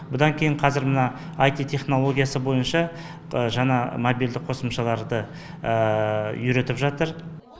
бұдан кейін қазір мына аити технологиясы бойынша жаңа мобильдік қосымшаларды үйретіп жатыр